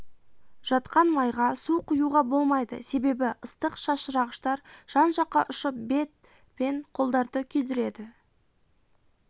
жатқан майға су құюға болмайды себебі ыстық шашырағыштар жан жаққа ұшып бет пен қолдарды күйдіреді